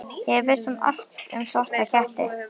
Ég vissi allt um svarta ketti.